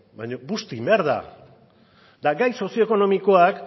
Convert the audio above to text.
baina busti egin behar da eta gai sozioekonomikoak